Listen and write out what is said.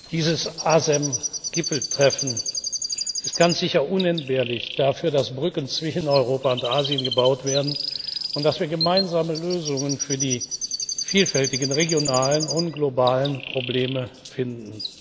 Dieses ASEM Gipfeltreffen ist ganz sicher unentbehrlich dafür, dass Brücken zwischen Europa und Asien gebaut werden und dass wir gemeinsame Lösungen für die vielfältigen regionalen und globalen Probleme finden.